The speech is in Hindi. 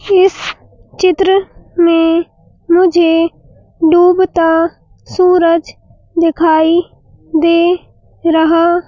इस चित्र में मुझे डूबता सूरज दिखाई दे रहा--